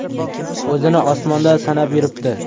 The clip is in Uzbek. O‘zini osmonda sanab yuribdi.